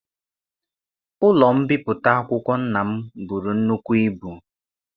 Ụlọ mbipụta akwụkwọ nna m bụrụ nnukwu ibu.